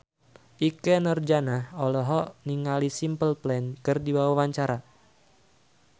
Ikke Nurjanah olohok ningali Simple Plan keur diwawancara